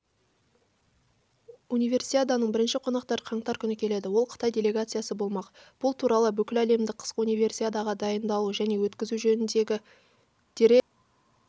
универсиаданың бірінші қонақтары қаңтар күні келеді ол қытай делегациясы болмақ бұл туралы бүкіләлемдік қысқы универсиадаға дайындалу және өткізу жөніндегі дирекция директоры